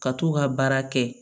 Ka t'u ka baara kɛ